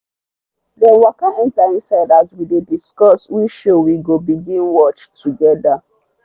them waka enter inside as we dey discuss which show we go binge-watch together.